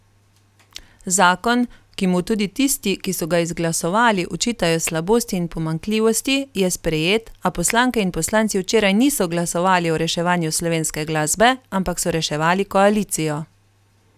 Zakon, ki mu tudi tisti, ki so ga izglasovali, očitajo slabosti in pomanjkljivosti, je sprejet, a poslanke in poslanci včeraj niso glasovali o reševanju slovenske glasbe, ampak so reševali koalicijo.